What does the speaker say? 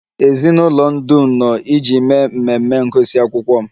Ezinụlọ m dum nọ iji mee mmemme ngụsị akwụkwọ m